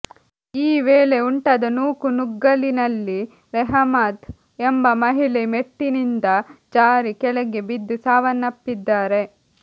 ಈ ವೇಳೆ ಉಂಟಾದ ನೂಕುನುಗ್ಗಲಿನಲ್ಲಿ ರೆಹಮದ್ ಎಂಬ ಮಹಿಳೆ ಮೆಟ್ಟಿನಿಂದ ಜಾರಿ ಕೆಳಕ್ಕೆ ಬಿದ್ದು ಸಾವನ್ನಪ್ಪಿದ್ದಾರೆ